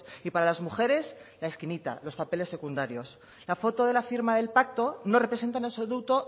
y para las mujeres la esquinita los papeles secundarios la foto de la firma del pacto no representa en absoluto